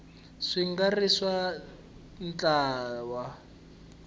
swi nga ri swa ntlawa